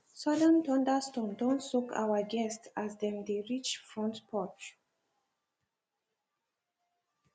sudden thunderstorm don soak our guests as dem dey reach front porch